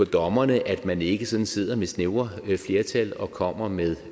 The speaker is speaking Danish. dommerne at man ikke sådan sidder med snævre flertal og kommer med